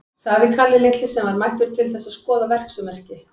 sagði Kalli litli, sem var mættur til þess að skoða verksummerki.